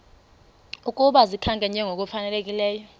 ukuba zikhankanywe ngokufanelekileyo